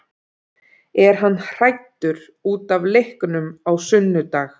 Er hann hræddur útaf leiknum á sunnudag?